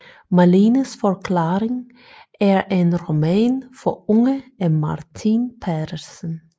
Malenes forklaring er en roman for unge af Martin Petersen